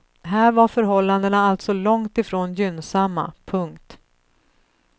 Här var förhållandena alltså långt ifrån gynnsamma. punkt